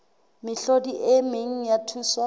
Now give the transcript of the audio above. mehlodi e meng ya thuso